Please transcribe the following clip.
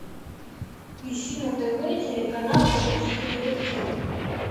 ищи на тв телеканал русский детектив